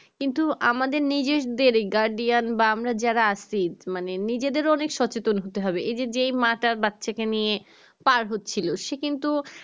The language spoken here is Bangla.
কিন্তু আমাদের নিজেদের guardian বা আমরা যারা আছি মানে নিজেদের অনেক সচেতন হতে হবে এই যে মা তার বাচ্চা কে নিয়ে পার হচ্ছিলো সে কিন্তু